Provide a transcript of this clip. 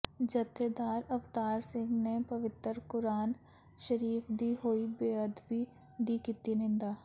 ਜਥੇਦਾਰ ਅਵਤਾਰ ਸਿੰਘ ਨੇ ਪਵਿੱਤਰ ਕੁਰਾਨ ਸ਼ਰੀਫ਼ ਦੀ ਹੋਈ ਬੇਅਦਬੀ ਦੀ ਕੀਤੀ ਨਿੰਦਾ